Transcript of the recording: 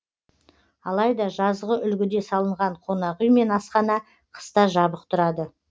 алайда жазғы үлгіде салынған қонақ үй мен асхана қыста жабық тұрады